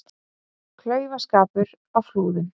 Klaufaskapur á Flúðum